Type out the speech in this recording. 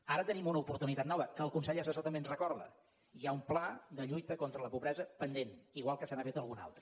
ara tenim una oportunitat nova que el consell assessor també ens recorda hi ha un pla de lluita contra la pobresa pendent igual que se n’ha fet algun altre